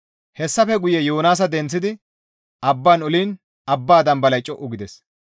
Hessafe guye Yoonaasa denththidi abban oliin abba dambalay co7u gides.